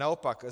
Naopak.